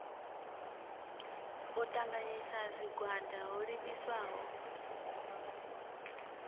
u ṱanganyisa zwigwada ho livhiswaho